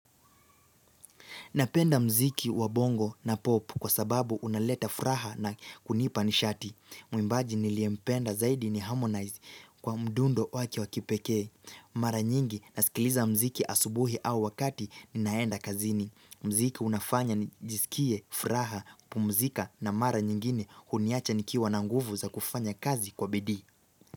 Napenda mziki wa bongo na pop kwa sababu unaleta furaha na kunipa nishati. Mwimbaji niliyempenda zaidi ni harmonize kwa mdundo wake wa kipekee. Mara nyingi na sikiliza mziki asubuhi au wakati ninaenda kazini. Mziki unafanya nijisikie furaha, pumzika na mara nyingine huniacha nikiwa na nguvu za kufanya kazi kwa bidii.